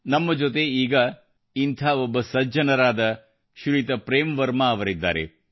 ನಮ್ಮ ಜೊತೆ ಈಗ ಇಂಥ ಒಬ್ಬ ಸಜ್ಜನರಾದ ಶ್ರೀಯುತ ಪ್ರೇಮ್ ವರ್ಮಾ ಅವರಿದ್ದಾರೆ